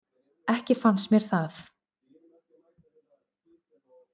Ekki fannst mér það.